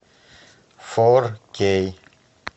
фор кей